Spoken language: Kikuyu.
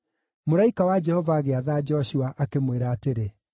Mũraika wa Jehova agĩatha Joshua, akĩmwĩra atĩrĩ,